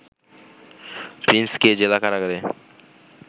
প্রিন্সকে জেলা কারাগারে